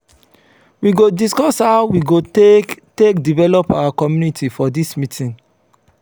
we go discuss how we go take take develop our community for dis meeting.